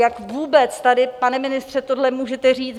Jak vůbec tady, pane ministře, tohle můžete říct?